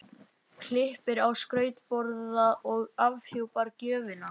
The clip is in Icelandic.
Klippir á skrautborða og afhjúpar gjöfina.